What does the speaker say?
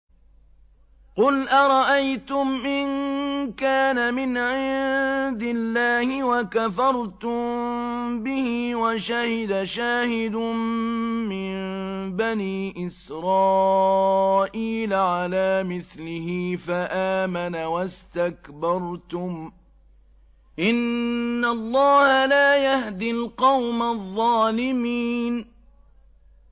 قُلْ أَرَأَيْتُمْ إِن كَانَ مِنْ عِندِ اللَّهِ وَكَفَرْتُم بِهِ وَشَهِدَ شَاهِدٌ مِّن بَنِي إِسْرَائِيلَ عَلَىٰ مِثْلِهِ فَآمَنَ وَاسْتَكْبَرْتُمْ ۖ إِنَّ اللَّهَ لَا يَهْدِي الْقَوْمَ الظَّالِمِينَ